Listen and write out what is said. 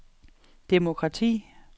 demokrati